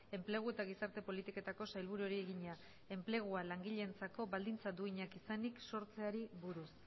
enplegu eta gizarte politiketako sailburuari egina enplegua langileentzako baldintza duinak izanki sortzeari buruz